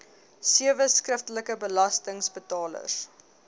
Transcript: sewe skriftelike belastingbetalers